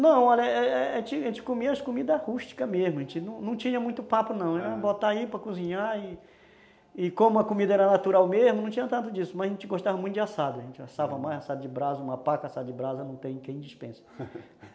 Não, olha, é é é, a gente gente comia as comidas rústicas mesmo, a gente não tinha muito papo não, aham, botar aí para cozinhar e e como a comida era natural mesmo, não tinha tanto disso, mas a gente gostava muito de assado, a gente assava mais assado de brasa, uma paca assada de brasa não tem quem despensa